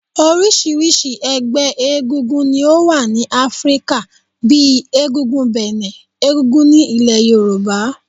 Orisirisi ẹgbẹ́ egúngún ni ó wà ní Áfríkà, bíi egúngún Benin, egúngún ní ilẹ̀ Yorùbá.